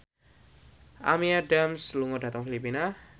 Amy Adams lunga dhateng Filipina